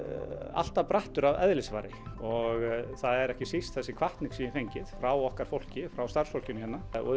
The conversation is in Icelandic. alltaf brattur að eðlisfari og það er ekki síst þessi hvatning sem ég hef fengið frá okkar fólki frá starfsfólkinu hérna og